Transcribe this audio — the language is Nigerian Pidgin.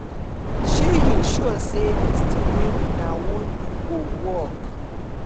um you sure say dis thing wey una wan do go work